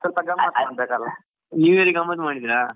ಸ್ವಲ್ಪ ಗಮ್ಮತ್ ಮಾಡ್ಬೇಕಲ್ವಾ.